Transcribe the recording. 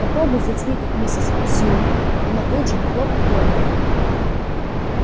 попробуй затяни так миссис сьюлин она тут же хлоп в обморок